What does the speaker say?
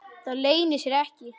Það leynir sér ekki.